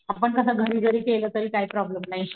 आपण कस घरी जरी केलं तरी काय प्रॉब्लेम नाही,